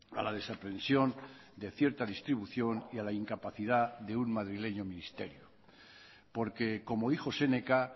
a la desaprensión de cierta distribución y a la incapacidad de un madrileño ministerio porque como dijo séneca